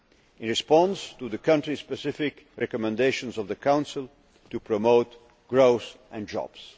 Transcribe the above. make, in response to the country specific recommendations of the Council, to promote growth and